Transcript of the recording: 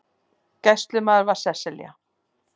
Gæslumaður var Sesselja